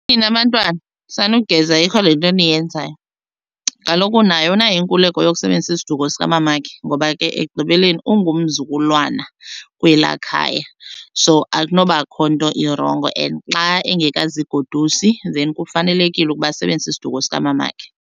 Nina bantwana sanugeza ayikho le nto niyenzayo. Kaloku naye unayo inkululeko yokusebenzisa isiduko sikamamakhe ngoba ke ekugqibeleni ungumzukulwana kwelaa khaya, so akunobakho nto irongo. And xa engekazigodusi then kufanelekile ukuba asebenzise isiduko sikamamakhe.